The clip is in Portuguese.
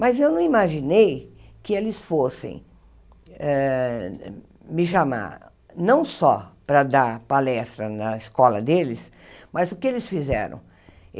Mas eu não imaginei que eles fossem eh me chamar não só para dar palestra na escola deles, mas o que eles fizeram?